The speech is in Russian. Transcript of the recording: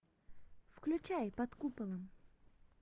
включай под куполом